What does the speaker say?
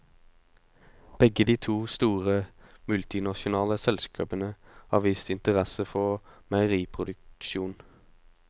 Begge de to store, multinasjonale selskapene har vist interesse for meieriproduksjon.